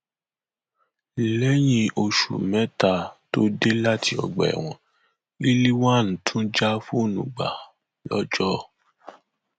lẹyìn oṣù mẹta tó dé láti ọgbà ẹwọn rilwan tún já fóònù gbà lọjọ